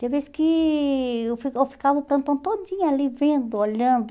Teve vez que eu fi eu ficava o plantão todinho ali, vendo, olhando.